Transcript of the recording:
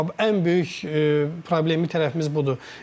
Bax ən böyük problem tərəfimiz budur.